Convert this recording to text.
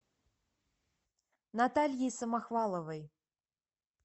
натальей самохваловой